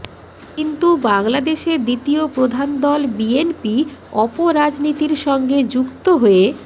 কিন্তু বাংলাদেশে দ্বিতীয় প্রধান দল বিএনপি অপরাজনীতির সঙ্গে যুক্ত হয়ে